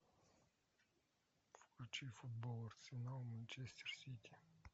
включи футбол арсенал манчестер сити